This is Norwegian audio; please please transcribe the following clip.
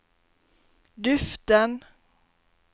duften